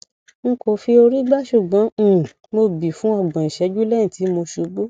n kò fi orí gbá ṣùgbọn um mo bí fún ọgbọn ìṣẹjú lẹyìn tí mo ṣubú